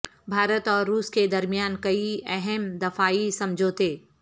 بھارت اور روس کے درمیان کئی اہم دفاعی سمجھوتے